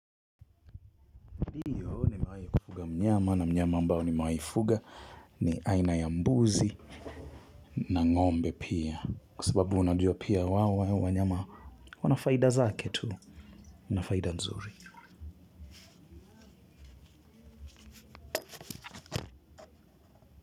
Ndiyo nimewai kufuga mnyama na mnyama ambao nimewai fuga ni aina ya mbuzi na ng'ombe pia kwa sababu unajua pia hawa wanyama wana faida zake tu nafaida nzuri.